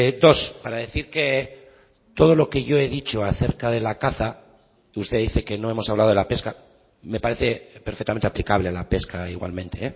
dos para decir que todo lo que yo he dicho acerca de la caza que usted dice que no hemos hablado de la pesca me parece perfectamente aplicable a la pesca igualmente